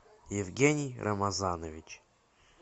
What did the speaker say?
евгений рамазанович